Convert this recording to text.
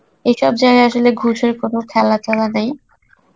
এসব জায়গায় আসলে ঘুষের কোন খেলা টেলা নেই